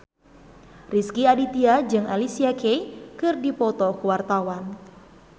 Rezky Aditya jeung Alicia Keys keur dipoto ku wartawan